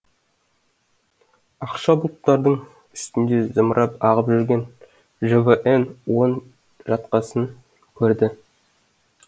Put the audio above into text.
ақша бұлттардың үстінде зымырап ағып жүрген жвн он жаткасын көрді